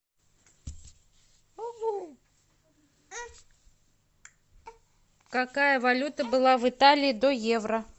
какая валюта была в италии до евро